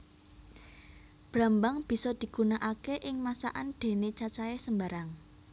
Brambang bisa digunakaké ing masakan déné cacahé sembarang